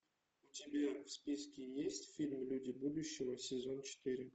у тебя в списке есть фильм люди будущего сезон четыре